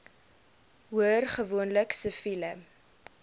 hoor gewoonlik siviele